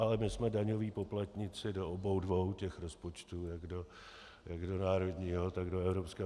Ale my jsme daňoví poplatníci do obou dvou těch rozpočtů, jak do národního, tak do evropského.